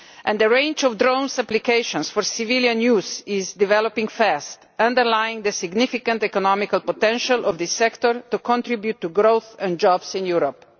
The range of drone applications for civilian use is developing fast, underlining the significant economic potential of this sector to contribute to growth and jobs in Europe.